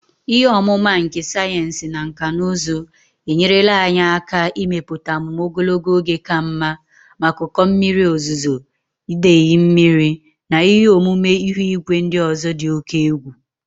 Ihe ọmụma nke sayensị na nkà na ụzụ enyerela anyị aka ịmepụta amụma ogologo oge ka mma maka ụkọ mmiri ozuzo, idei mmiri, na ihe omume ihu igwe ndị ọzọ dị oke egwu